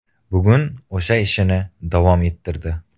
Bugun o‘sha ishini davom ettirdi.